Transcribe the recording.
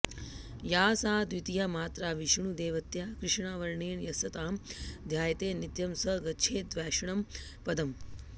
या सा द्वितीया मात्रा विष्णुदेवत्या कृष्णा वर्णेन यस्तां ध्यायते नित्यं स गच्छेद्वैष्णवं पदम्